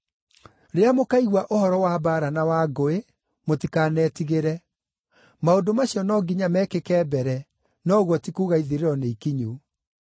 Rĩrĩa mũkaigua ũhoro wa mbaara na wa ngũĩ, mũtikanetigĩre. Maũndũ macio no nginya mekĩke mbere, no ũguo ti kuuga ithirĩro nĩikinyu.”